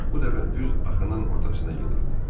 Bu dəfə düz axının ortasına gedirdi.